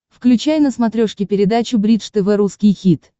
включай на смотрешке передачу бридж тв русский хит